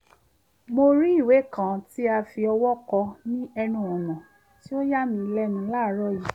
mo rí ìwé kan tí a fi ọwọ́ kọ ní ẹnu ọ̀nà tí ó yà mí lẹ́nu láàárọ̀ yìí